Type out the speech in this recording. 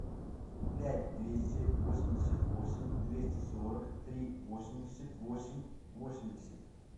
пять двести восемьдесят восемь двести сорок три восемьдесят восемь восемьдесят